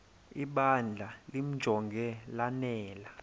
ibandla limjonge lanele